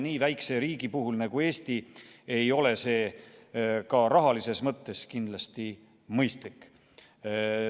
Nii väikese riigi puhul nagu Eesti ei ole see ka rahalises mõttes kindlasti mõistlik.